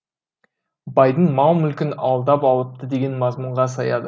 байдың мал мүлкін алдап алыпты деген мазмұнға саяды